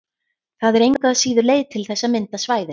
Það er engu að síður til leið til þess að mynda svæðin.